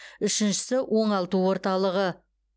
үшіншісі оңалту орталығы